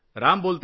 राम बोलतोय